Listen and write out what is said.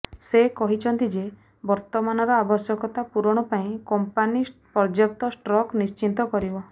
ସେ କହିଛନ୍ତି ଯେ ବର୍ତ୍ତମାନର ଆବଶ୍ୟକତା ପୂରଣ କରିବା ପାଇଁ କମ୍ପାନୀ ପର୍ୟ୍ୟାପ୍ତ ଷ୍ଟକ୍ ନିଶ୍ଚିତ କରିବ